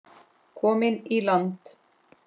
Komin í land.